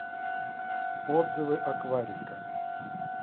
отзывы акварика